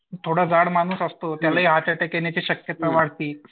थोडा जाड माणूस असतो त्यालाही हर्ट अटॅक येण्याची शक्यता असते.